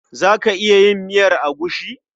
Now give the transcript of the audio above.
Za ka iya yin miyar agushi?